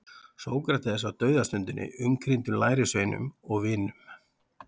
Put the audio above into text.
Sókrates á dauðastundinni umkringdur lærisveinum og vinum.